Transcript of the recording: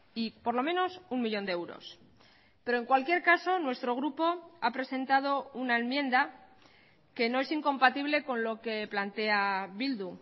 y por lo menos un millón de euros pero en cualquier caso nuestro grupo ha presentado una enmienda que no es incompatible con lo que plantea bildu